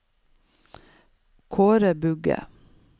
Kaare Bugge